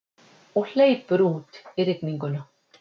Og hleypur út í rigninguna.